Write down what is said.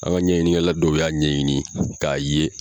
An ka ɲɛɲini kɛla dɔw y'a ɲɛɲini k'a ye